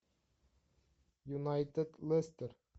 юнайтед лестер